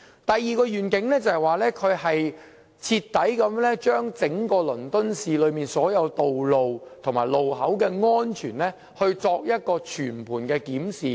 第二個願景，他要對整個倫敦市內所有道路和路口的安全，作出徹底和全盤的檢視。